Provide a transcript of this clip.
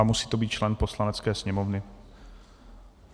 A musí to být člen Poslanecké sněmovny.